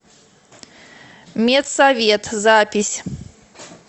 медсовет запись